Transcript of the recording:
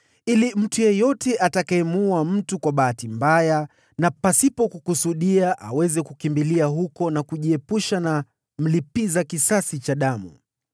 ili mtu yeyote atakayemuua mtu kwa bahati mbaya na pasipo kukusudia aweze kukimbilia huko na kujiepusha na mlipiza kisasi wa damu.